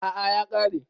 A'a ya kare.